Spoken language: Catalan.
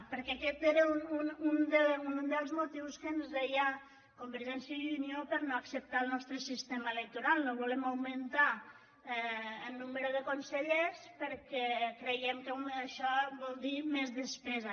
perquè aquest era un dels motius que ens deia convergència i unió per no acceptar el nostre sistema electoral no volem augmentar en nombre de consellers perquè creiem que això vol dir més despesa